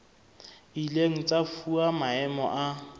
ileng tsa fuwa maemo a